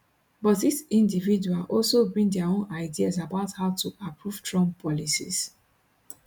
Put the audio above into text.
but each individual also bring dia own ideas about how to approve trump policies